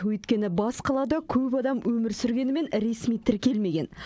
өйткені бас қалада көп адам өмір сүргенімен ресми тіркелмеген